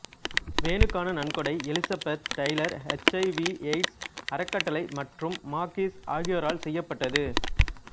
வேனுக்கான நன்கொடை Elizabeth Taylor HIV AIDS அறக்கட்டளை மற்றும் மாகிஸ் ஆகியோரால் செய்யப்பட்டது